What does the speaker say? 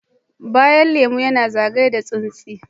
Bayan lemu yana zagayeye da tsansi.